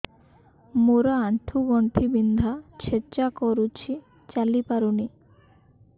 ମୋର ଆଣ୍ଠୁ ଗଣ୍ଠି ବିନ୍ଧା ଛେଚା କରୁଛି ଚାଲି ପାରୁନି